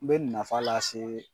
N be nafa lase